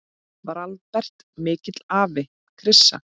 Var Albert mikill afi, Krissa?